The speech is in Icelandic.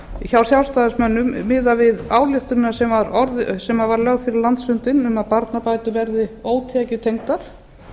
hjá sjálfstæðismönnum miðað við ályktunina sem var lögð fyrir landsfundinn um að barnabætur verði ótekjutengdar